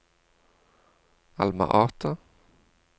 Alma Ata